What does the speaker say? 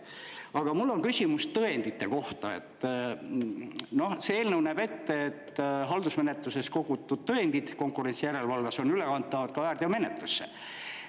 Aga mul on küsimus tõendite kohta, et see eelnõu näeb ette, et haldusmenetluses kogutud tõendid konkurentsijärelevalves on ülekantavad ka väärteomenetlusse.